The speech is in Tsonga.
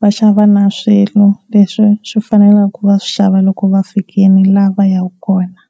Va xava na swilo leswi swi fanele ku va va swi xava loko va fikile la va ya ka kona.